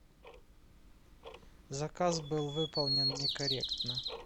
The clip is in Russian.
заказ был выполнен некорректно